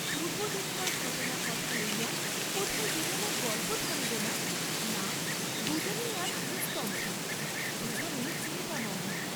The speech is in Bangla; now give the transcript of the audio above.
পূর্ব্বদিনকার ঘটনার কথা লইয়া কোথায় দুজনের গল্প থামিবে না, না দুজনেই আজ নিস্তব্ধ, দুজনেই চিন্তামগ্ন।